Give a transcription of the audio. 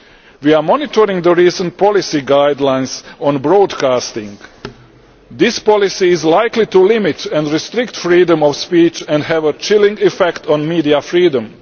We are monitoring the recent policy guidelines on broadcasting. This policy is likely to limit and restrict freedom of speech and have a chilling effect on media freedom.